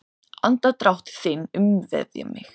Andardrátt þinn umvefja mig.